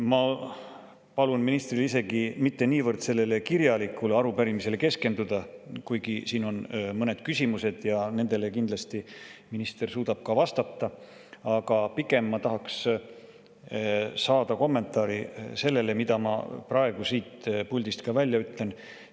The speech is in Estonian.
Ma palun ministril isegi mitte niivõrd sellele kirjalikule arupärimisele keskenduda, kuigi siin on mõned küsimused ja nendele kindlasti minister suudab vastata, aga pigem ma tahaks saada kommentaari sellele, mille ma praegu siit puldist välja ütlen.